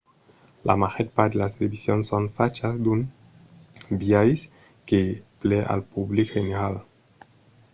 la màger part de las televisions son fachas d'un biais que plai al public general